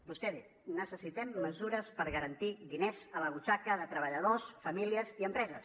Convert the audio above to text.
vostè ha dit necessitem mesures per garantir diners a la butxaca de treballadors famílies i empreses